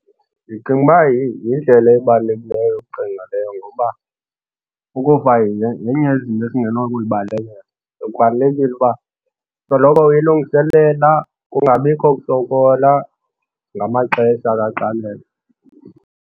Ndicinga uba yindlela ebalulekileyo yokucinga leyo ngoba ukufa yenye yezinto esingeno ukubalekela so kubalulekile uba soloko uyilungiselela kungabikho kusokola ngamaxesha kaxakeka.